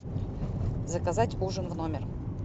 заказать ужин в номер